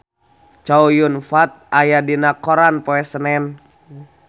Chow Yun Fat aya dina koran poe Senen